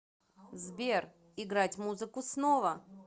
сбер играть музыку снова